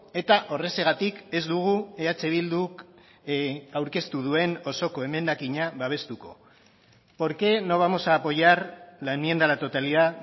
eta horrexegatik ez dugu eh bilduk aurkeztu duen osoko emendakina babestuko por qué no vamos a apoyar la enmienda a la totalidad